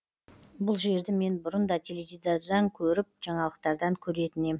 бұл жерді мен бұрын да теледидардан көріп жаңалықтардан көретін ем